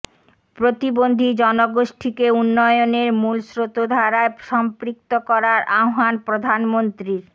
প্রতিবন্ধী জনগোষ্ঠীকে উন্নয়নের মূল স্রোতধারায় সম্পৃক্ত করার আহ্বান প্রধানমন্ত্রীর